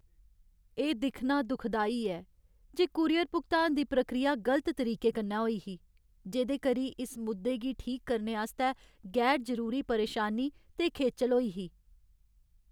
एह् दिक्खना दुखदाई ऐ जे कूरियर भुगतान दी प्रक्रिया गलत तरीके कन्नै होई ही, जेह्दे करी इस मुद्दे गी ठीक करने आस्तै गैर जरूरी परेशानी ते खेचल होई ही।